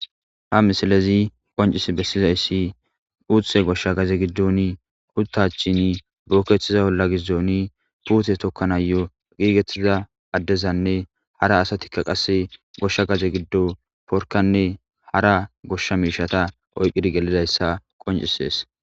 Ha misalezi qoncis bessizayssi uuthe goshsha gaze giddoni huttachin buukkeththiza olla gizdooni puute tokkana yo giigettiza addezanne hara asatikka qasse goshsha gaze giddo porkanne hara goshsha miishata oyqidi gelidayssa qoncisees